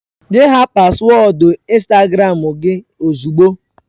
Nye ha paswọọdụ Instagram gị ozugbo!